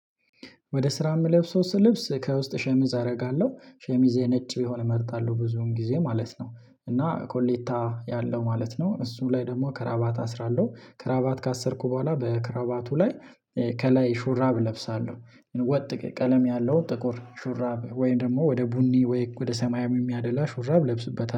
ወደ ስራ የምለብሰው ስልብስ ከውስጥ ሸሚዝ አደርጋለሁ ሸሚዜ ነጭ ቢሆነ እመርጣለሁ ብዙን ጊዜ ማለት ነው እና ኮሌታ ያለው ማለት ነው። እሱም ላይ ደግሞ ክራባት አስራለሁ ክራባት ካሰርኩ በኋላ በክራባቱ ላይ ከላይ ሹራብ እለብሳለሁ። ወጥ ቀለም ያለው ጥቁር ሹራብ ወይም ደግሞ ወደ ቡኒ ወይ ወደ ሰማያም የሚያደላ ሹራብ እለብስበታለሁ